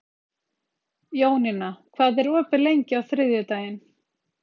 Jónína, hvað er opið lengi á þriðjudaginn?